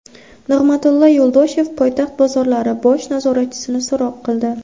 Nig‘matilla Yo‘ldoshev poytaxt bozorlari bosh nazoratchisini so‘roq qildi.